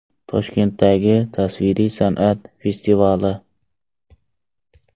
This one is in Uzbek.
Toshkentdagi tasviriy san’at festivali.